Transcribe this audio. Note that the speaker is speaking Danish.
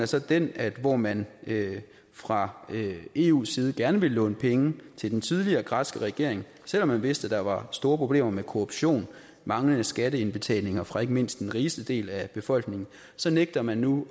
så den at hvor man fra eus side gerne ville låne penge til den tidligere græske regering selv om man vidste at der var store problemer med korruption og manglende skatteindbetalinger fra ikke mindst den rigeste del af befolkningen så nægter man nu